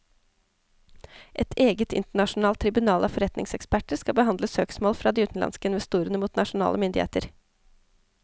Et eget internasjonalt tribunal av forretningseksperter skal behandle søksmål fra de utenlandske investorene mot nasjonale myndigheter.